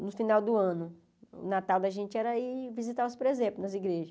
No final do ano, o Natal da gente era ir visitar os presépios nas igrejas.